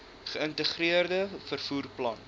geïntegreerde vervoer plan